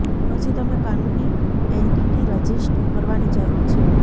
પછી તમે કાનૂની એન્ટિટી રજિસ્ટર કરવાની જરૂર છે